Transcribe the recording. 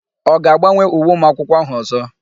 Ọ ga-agbanwe uwe ụmụakwụkwọ áhụ̀ ọ̀zọ́?